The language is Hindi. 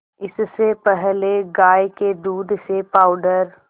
इससे पहले गाय के दूध से पावडर